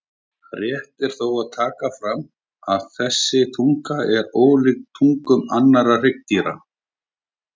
Rétt er þó að taka fram að þessi tunga er ólíkt tungum annarra hryggdýra.